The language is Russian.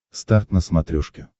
старт на смотрешке